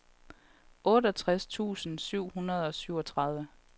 otteogtres tusind syv hundrede og syvogtredive